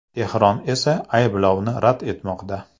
Tehron esa ayblovni rad etmoqda.